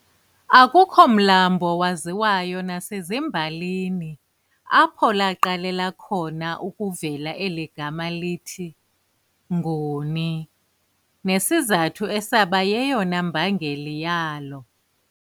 Akukho mlambo waziwayo nasemabalini apho laaqalela khona ukuvela eli gama lithi, "Nguni" nesizathu esaba yeyona mbangeli yalo.